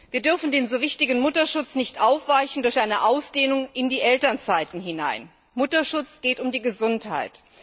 Wir dürfen den so wichtigen Mutterschutz nicht aufweichen durch eine Ausdehnung in die Elternzeiten hinein. Beim Mutterschutz geht es um die Gesundheit.